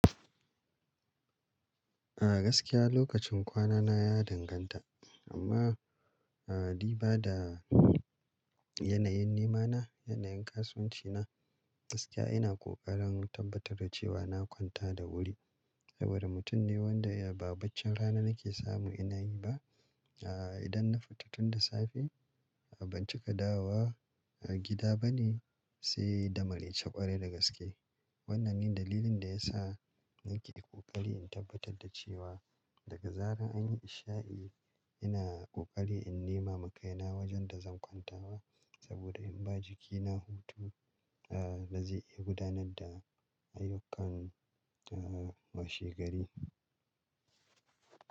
A gaskiya lokacin kwana na ya danganta amma, a di bada yanayin nema na, yanayin kasuwanci na gaskiya ina kokarin tabbatar da cewa na kwanta da wuri saboda mutum ne wanda ya ba bacci rana nake samu ina yi ba. A idan na fita tun da safe a ban cika dawowa a gida bane sai damaraice kwarai da gaske. Wannan ne dalilin da yasa nake kokari in tabbatar da cewa daga zarar an yi isha'i ina kokari in nema ma kaina wajen da zan kwantawa saboda in ba jikina hutu a da zai iya gudanar da ayyukan a washegari.